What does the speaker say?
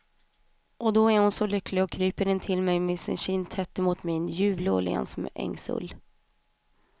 Och då är hon så lycklig och kryper intill mig med sin kind tätt emot min, ljuvlig och len som ett ängsull.